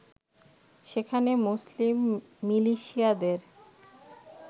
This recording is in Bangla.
সেখানে মুসলিম মিলিশিয়াদের